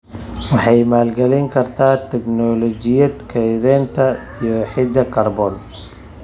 Waxay maalgelin kartaa tignoolajiyada kaydinta dioxide kaarboon.